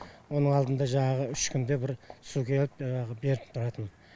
оның алдында жаңағы үш күнде бір су келіп жаңағы беріп тұратын